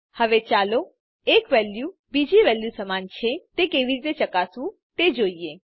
હવે ચાલો એક વેલ્યુ બીજી વેલ્યુ સમાન છે તે કેવી રીતે ચકાસવું તે જોઈએ